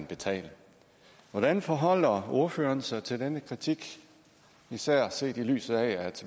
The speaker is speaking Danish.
betale hvordan forholder ordføreren sig til denne kritik især set i lyset af